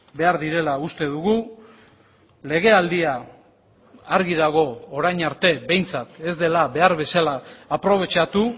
behar direla uste dugu legealdia argi dago orain arte behintzat ez dela behar bezala aprobetxatu